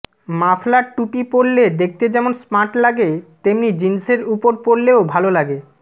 muffler টুপি পরলে দেখতে যেমন স্মার্ট লাগে তেমনি জিন্সের উপর পরলেও ভাল লাগে